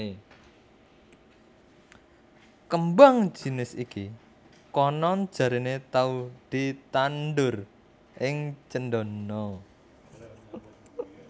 Kembang jinis iki konon jarene tau ditandhur ing Cendana